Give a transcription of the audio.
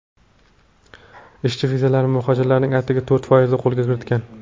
Ishchi vizalarni muhojirlarning atigi to‘rt foizi qo‘lga kiritgan.